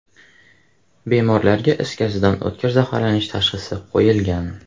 Bemorlarga is gazidan o‘tkir zaharlanish tashxisi qo‘yilgan.